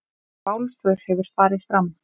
Bálför hefur farið fram.